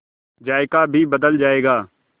जायका भी बदल जाएगा